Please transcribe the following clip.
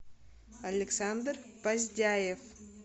александр поздяев